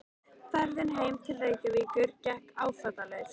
Ferðin heim til Reykjavíkur gekk áfallalaust.